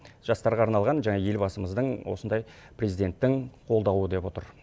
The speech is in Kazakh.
жастарға арналған жаңа елбасымыздың осындай президенттің қолдауы деп отыр